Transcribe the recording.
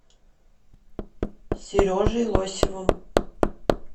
сережей лосевым